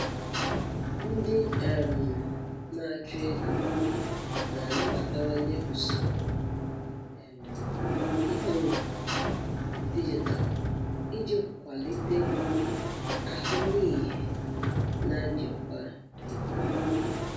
Ndị um na-achụ ego na-anabatawanye usoro um ikpo okwu dijitalụ iji kwalite ahụmịhe na njikwa ego ha.